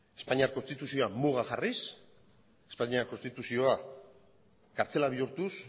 espainiar konstituzioa muga jarriz espainiar konstituzioa kartzela bihurtuz